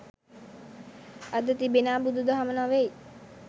අද තිබෙනා බුදු දහම නොවෙයි